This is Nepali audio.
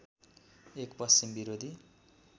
एक पश्चिम विरोधी